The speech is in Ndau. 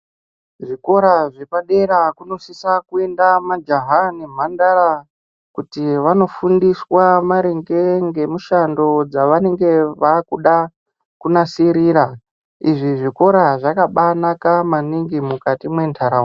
Zvikora zvepadera kunosisa kuenda majaha nemhandara kuti vanofundiswe maringe ngemushando dzvanenge vakuda kunasirira, izvi zvikora zvakabanaka maningi mukati mwentaraunda.